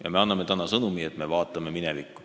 Ja me anname täna sõnumi, et me vaatame minevikku.